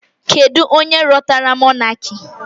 Kedu onye rọtara mọnaki?